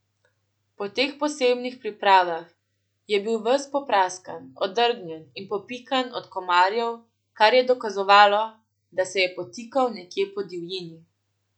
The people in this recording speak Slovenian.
Po teh posebnih pripravah je bil ves popraskan, odgrnjen in popikan od komarjev, kar je dokazovalo, da se je potikal nekje po divjini.